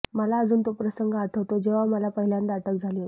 मला अजून तो प्रसंग आठवतो जेव्हा मला पहिल्यांदा अटक झाली होती